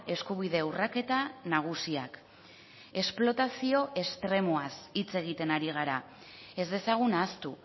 eskubide urraketa nagusiak esplotazio estremoaz hitz egiten ari gara ez dezagun ahaztu